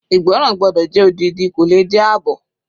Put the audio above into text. Ìgbọ́ràn gbọ́dọ̀ jẹ́ odidi kò le jẹ́ àbọ̀.